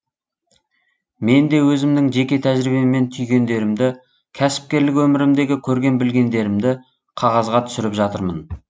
мен де өзімнің жеке тәжірибеммен түйгендерімді кәсіпкерлік өмірімдегі көрген білгендерімді қағазға түсіріп жатырмын